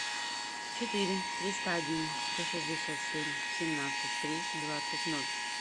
четыре триста один сто шестьдесят семь семнадцать три двадцать ноль